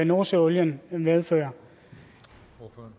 nordsøolien medfører